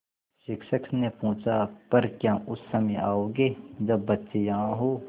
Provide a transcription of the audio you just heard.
शिक्षक ने पूछा पर क्या उस समय आओगे जब बच्चे यहाँ हों